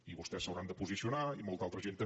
i vostès s’hi hauran de posicionar i molta altra gent també